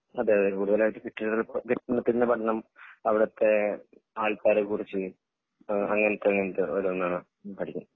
അതെയതെ കൂടുതലായിട്ടും കെട്ടിട കെട്ടിടത്തിൻ്റെ പഠനം അവിടത്തെ ആൾക്കാരെ കുറിച്ച് അങ്ങിനത്തെ അങ്ങിനത്തെ ഓരോന്ന് പഠിക്കും